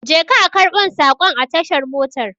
Je ka a karbon sakon a tashar motar